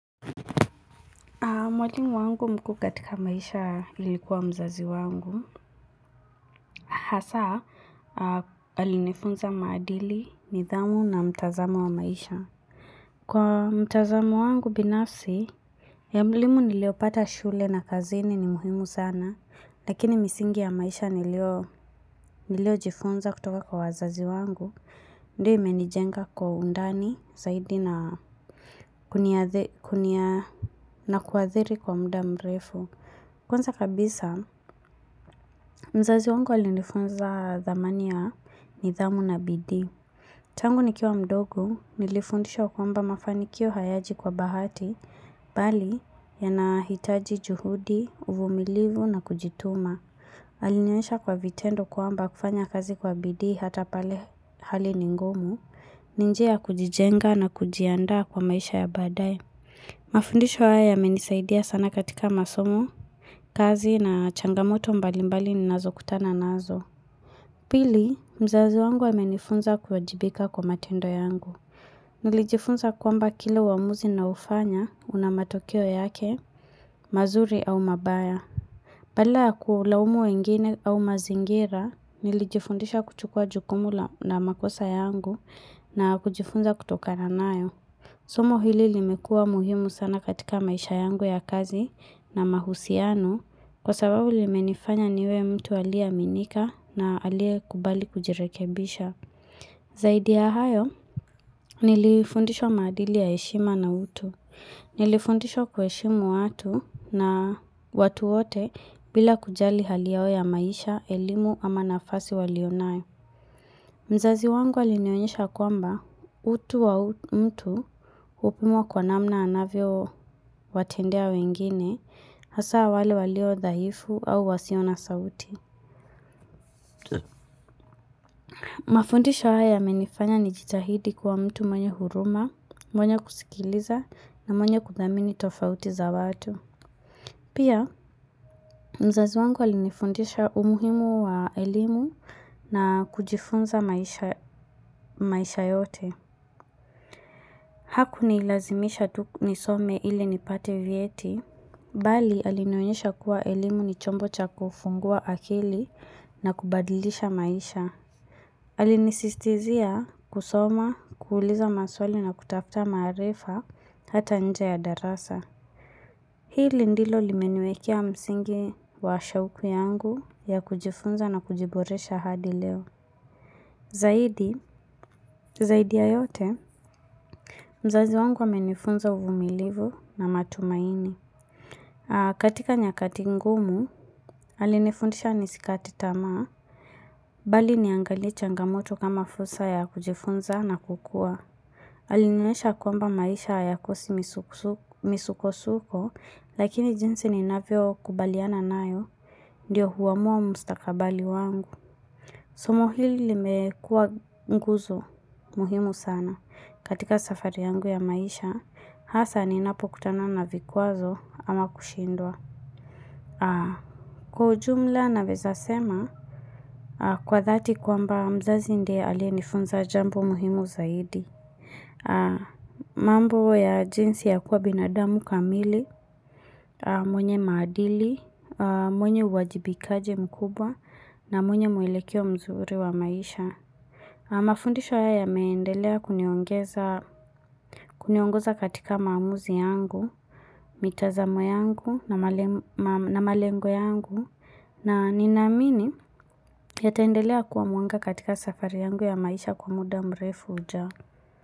Mwalimu wangu mkuu katika maisha ilikuwa mzazi wangu, hasa alinefunza maadili, nidhamu na mtazamo wa maisha. Kwa mtazamo wangu binafsi, elimu niliopata shule na kazini ni muhimu sana, lakini misingi ya maisha nilio jifunza kutoka kwa wazazi wangu. Ndio imenijenga kwa undani, zaidi na kuadhiri kwa muda mrefu. Kwanza kabisa, mzazi wangu alinifunza dhamani ya nidhamu na bidii. Tangu nikiwa mdogo, nilifundishwa kwamba mafanikio hayaji kwa bahati, bali yanahitaji juhudi, uvumilivu na kujituma. Alinionyesha kwa vitendo kuamba kufanya kazi kwa bidi hata pale hali ningumu, ni njia ya kujijenga na kujiandaa kwa maisha ya baadae. Mafundisho haya yamenisaidia sana katika masomo, kazi na changamoto mbalimbali ni nazo kutana nazo. Pili, mzazi wangu amenifunza kuwajibika kwa matendo yangu. Nilijifunza kwamba kila uamuzi ninayofanya unamatokeo yake, mazuri au mabaya. Badala ya kulaumu wengine au mazingira, nilijifundisha kuchukua jukumu na makosa yangu na kujifunza kutoka na nayo. Somo hili limekua muhimu sana katika maisha yangu ya kazi na mahusiano kwa sababu limenifanya niwe mtu aliaminika na alie kubali kujirekebisha. Zaidi ya hayo, nilifundishwa maadili ya heshima na hutu. Nilifundishwa kuheshimu watu na watu wote bila kujali hali yao ya maisha, elimu ama nafasi walionayo. Mzazi wangu alinionyesha kwamba utu wa mtu upimwa kwa namna anavyowatendea wengine, hasa wale waliodhaifu au wasio na sauti. Mafundisha hayamenifanya ni jitahidi kwa mtu mwenye huruma, mwenye kusikiliza na mwenye kudhamini tofauti za watu. Pia, mzazi wangu alinifundisha umuhimu wa elimu na kujifunza maisha yote. Hakunilazimisha tukunisome ili nipate vyeti, bali alinionyasha kuwa elimu ni chombo cha kufungua akili na kubadilisha maisha. Alinisistizia kusoma, kuuliza maswali na kutafta maarifa hata nje ya darasa. Hili ndilo limenwekea msingi wa shauku yangu ya kujifunza na kujiboresha hadi leo. Zaidi, zaidi ya yote, mzazi wangu amenifunza uvumilivu na matumaini. Katika nyakati ngumu, alinifundisha nisikate tamaa, bali niangali changamoto kama fursa ya kujifunza na kukua. Alinioyesha kwamba maisha haikosi misuko-suko, lakini jinsi ninavyokubaliana nayo, ndiyo huamua umustakabali wangu. Somo hili limekuwa nguzo muhimu sana katika safari yangu ya maisha, hasa ninapo kutana na vikwazo ama kushindwa. Kwa ujumla naweza sema, kwa thati kwamba mzazi ndiye alie nifunza jambo muhimu zaidi. Mambo ya jinsi ya kuwa binadamu kamili, mwenye maadili, mwenye uwajibikaji mkubwa na mwenye mwelekio mzuri wa maisha. Mafundisho haya yameendelea kuniongeza katika maamuzi yangu, mitazamo yangu na malengo yangu na ninaamini yataendelea kuwa mwanga katika safari yangu ya maisha kwa muda mrefu hujao.